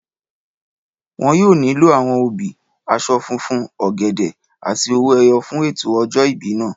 Wọn yóò nílò àwọn obì, aṣọ funfun, ọ̀gẹ̀dẹ̀ àti owó ẹyọ fún ètò ọjọ́ ìbí náà